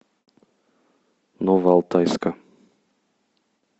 новоалтайска